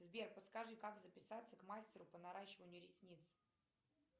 сбер подскажи как записаться к мастеру по наращиванию ресниц